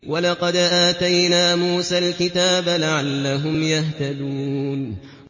وَلَقَدْ آتَيْنَا مُوسَى الْكِتَابَ لَعَلَّهُمْ يَهْتَدُونَ